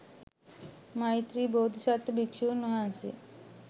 මෛත්‍රී බෝධිසත්ව භික්‍ෂූන්වහන්සේ